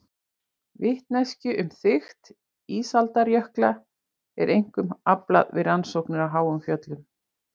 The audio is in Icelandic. Vitneskju um þykkt ísaldarjökla er einkum aflað við rannsóknir á háum fjöllum.